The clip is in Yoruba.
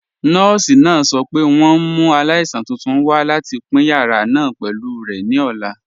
Nọọ̀si náà sọ̀ pé wọn n mú aláìsàn tuntun wà láti pin yàrà náà pẹ̀lú rẹ̀ ní ọ̀la.